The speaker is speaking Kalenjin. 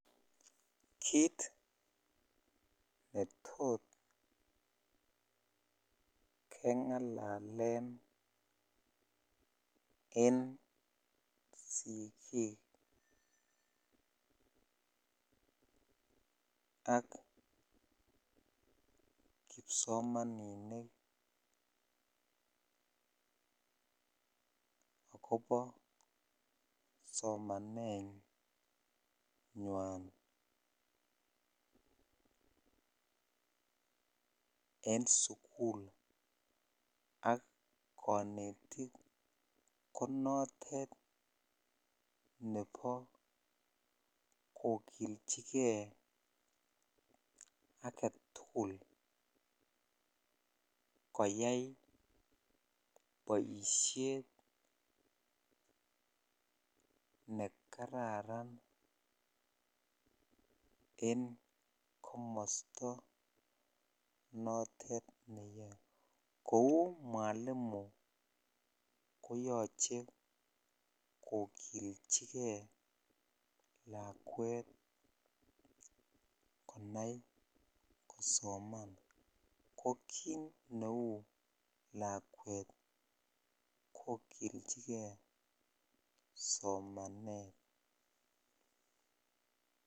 Kiit netot kengalalen en sikiik ak kipsomaninik ak kobo somanenywan en sukul ak konetik konotet nebo kokilchike aketukul koyai boishet nekararan en komosto notet neyoe, kouu mwalimu koyoche kokilchike lakwet konai kosoman, ko kiit neuu lakwet kokilchike somanet.